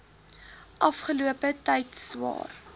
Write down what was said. afgelope tyd swaar